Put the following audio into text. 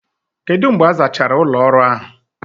Kedu mgbe a zachara ụlọ ọrụ ahụ?